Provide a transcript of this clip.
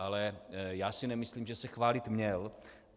Ale já si nemyslím, že se chválit měl.